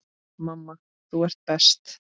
Mamma, þú ert best.